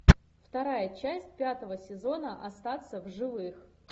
вторая часть пятого сезона остаться в живых